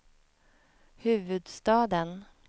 huvudstaden